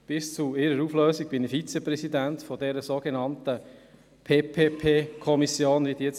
Bis zu deren Auflösung war ich Vizepräsident dieser sogenannten PPP-Kommission in Biel.